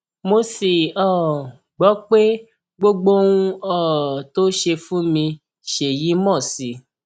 mo sì um gbọ pé gbogbo ohun um tó ṣe fún mi ṣèyí mọ sí i